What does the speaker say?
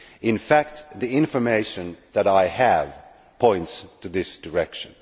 In fact the information that I have points in this direction.